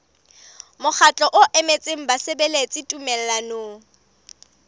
mokgatlo o emetseng basebeletsi tumellanong